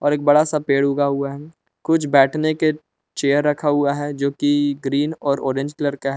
और एक बड़ा सा पेड़ उगा हुआ है। कुछ बैठने के चेयर रखा हुआ है जोकि ग्रीन और ऑरेंज कलर का है।